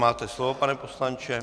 Máte slovo, pane poslanče.